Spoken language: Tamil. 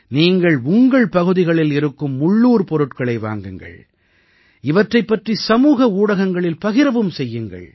நீங்கள் உங்கள் பகுதிகளில் இருக்கும் உள்ளூர் பொருட்களை வாங்குங்கள் இவற்றைப் பற்றி சமூக ஊடகங்களில் பகிரவும் செய்யுங்கள்